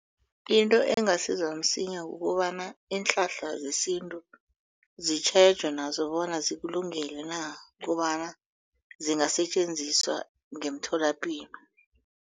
Into engasiza msinya kukobana iinhlahla zesintu zitjhejwe nazo bona zikulungele na kobana zingasetjenziswa ngemtholapilo.